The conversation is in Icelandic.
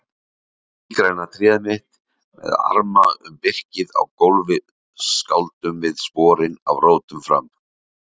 Sígræna tréð mitt með arma um birkið á gólfi skáldum við sporin af rótum fram